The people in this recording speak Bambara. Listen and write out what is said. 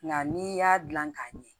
Nka n'i y'a dilan k'a ɲɛ